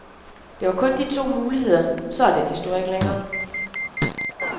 Der var kun de to muligheder, og så er den historie ikke længere.